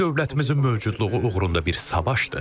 Bu dövlətimizin mövcudluğu uğrunda bir savaştır.